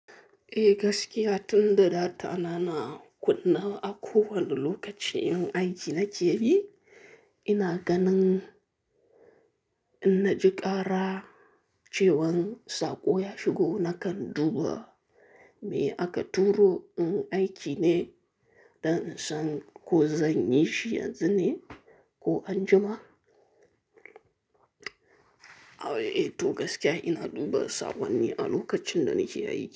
Eh gaskiya tun da data na na kunne a kowane lokacin in aiki na ke bi, ina ganin in na ji ƙara cewan saƙo ya shigo nakan duba me aka turo in aiki ne don in san ko zan yi shi yanzu ne ko anjima. A'a eh to gaskiya ina duba saƙonni a lokacin da nake aiki.